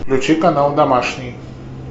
включи канал домашний